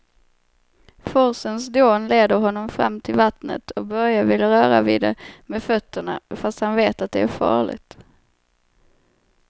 Forsens dån leder honom fram till vattnet och Börje vill röra vid det med fötterna, fast han vet att det är farligt.